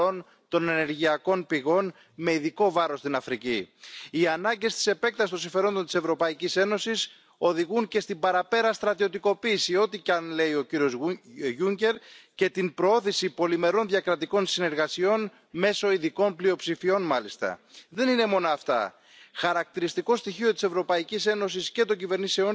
Sans une transformation profonde de l'ultralibéralisme de l'Union européenne, votre Commission continuera à faire de gros dégâts. Partout, votre Union européenne fédéraliste est dans le déni de réalité et dans les mensonges institutionnels. Vous dites vouloir renforcer les garde frontières européens, mais lorsque la France était la France, le douanier contrôlait et sécurisait efficacement nos frontières nationales. Vous voulez aussi que l'Union européenne fasse main basse sur la politique extérieure des États membres.